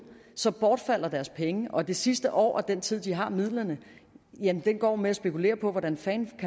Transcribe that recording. så bortfalder deres penge og det sidste år af den tid de har midlerne går med at spekulere på hvordan fanden